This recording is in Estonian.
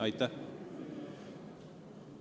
Aitäh!